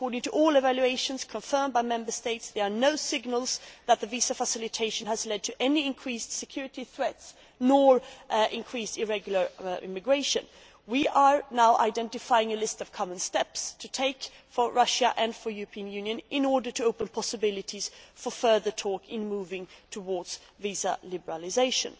According to all evaluations, confirmed by Member States, there are no signals that the visa facilitation has led to any increased security threats or to increased irregular immigration. We are now identifying a list of common steps for Russia and the European Union to take in order to open possibilities for further talks on moving towards visa liberalisation.